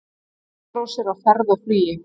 Frostrósir á ferð og flugi